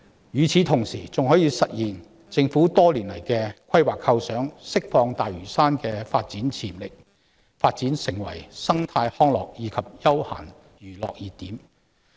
與此同時，"明日大嶼願景"還可以實現政府多年來的規劃構想，釋放大嶼山的發展潛力，讓其成為生態康樂及休閒娛樂熱點。